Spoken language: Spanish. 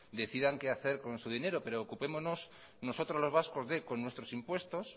decidan qué hacer con su dinero preocupémonos nosotros los vascos de con nuestros impuestos